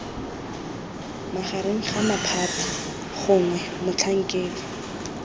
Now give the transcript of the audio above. magareng ga maphata gongwe motlhankedi